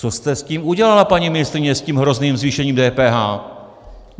Co jste s tím udělala, paní ministryně, s tím hrozným zvýšením DPH?